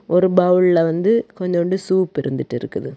ஒரு பௌல்ல வந்து கொஞ்சூண்டு சூப் இருந்துட்டு இருக்குது.